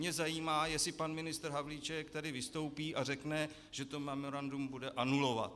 Mě zajímá, jestli pan ministr Havlíček tady vystoupí a řekne, že to memorandum bude anulovat.